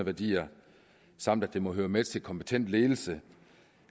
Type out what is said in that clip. værdier samt at det må høre med til kompetent ledelse